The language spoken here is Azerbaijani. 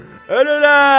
Ölürəl!